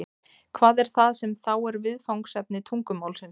hvað er það sem þá er viðfangsefni tungumálsins